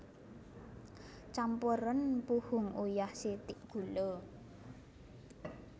Campuren puhung uyah sithik gula